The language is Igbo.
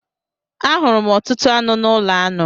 A hụrụ m ọtụtụ aṅụ n'ụlọ aṅụ